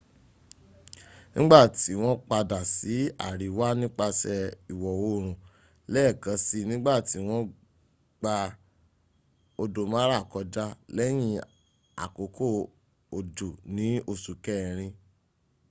nìgbàtí wọ́n padà sí àríwá nípasẹ̀ ìwọ oòrùn lẹ́ẹ̀kan si nígbàtí wọ́n gba odò mara kọjá lẹ́yìn àkókò òjò ní oṣù kẹrin